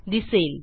दिसेल